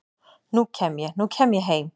nú kem ég, nú kem ég heim